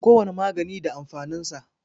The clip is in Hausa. Kowane magani da amfanin sa.